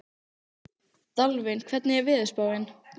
Dalvin, hvernig er veðurspáin?